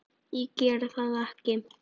Ég geri það ekki!